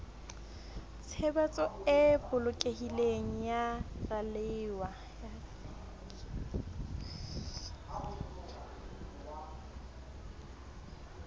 tshebetso e bolokehileng ya ralewa